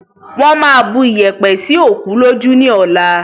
Wọn má bu iyẹ̀pẹ̀ sì òkú lójú ni ọ̀la